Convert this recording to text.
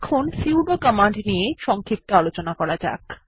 এখন sudo command নিয়ে সংক্ষিপ্ত আলোচনা করা যাক